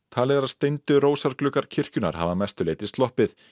talið er að steindu rósargluggar kirkjunnar hafi að mestu leyti sloppið